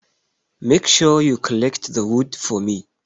Make sure you collect the wood for me!